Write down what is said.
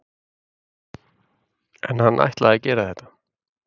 En ætlaði hann að gera þetta?